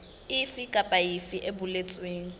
efe kapa efe e boletsweng